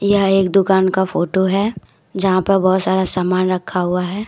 यह एक दुकान का फोटो है यहां पर बहुत सारा समान रखा हुआ है।